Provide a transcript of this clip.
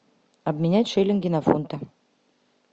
обменять шиллинги на фунты